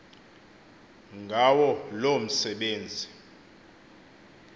ngawo loo msebenzi